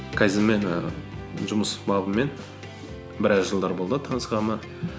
кайдзенмен ііі жұмыс бабымен біраз жылдар болды танысқаныма